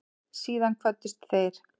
Síðan kvöddust þeir.